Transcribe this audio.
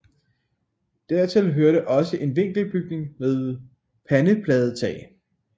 Dertil hørte også en vinkelbygning med pandepladetag